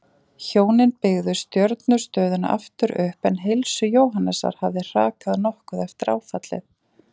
Hjónin byggðu stjörnustöðina aftur upp en heilsu Jóhannesar hafði hrakað nokkuð eftir áfallið.